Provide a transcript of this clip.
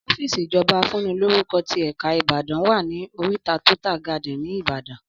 Ọ́fìsì ìjọba afúnilórúkọ tí èka ìbàdàn wa ní oríta tótà gádìn ní ìbàdàn